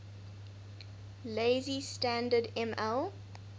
lazy standard ml